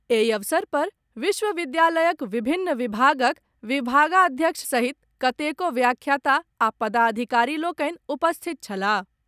एहि अवसर पर विश्वविद्यालयक विभिन्न विभागक विभागाध्यक्ष सहित कतेको व्याख्याता आ पदाधिकारी लोकनि उपस्थित छलाह।